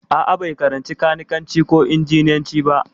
A'a, bai karanci kanikanci ko injiniyanci ba.